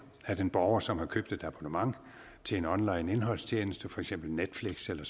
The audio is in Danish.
at en borger som har købt et abonnement til en onlineindholdstjeneste for eksempel netflix eller